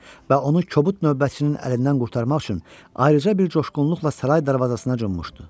Və onu kobud növbətçinin əlindən qurtarmaq üçün ayrıca bir coşğunluqla saray darvazasına cummuşdu.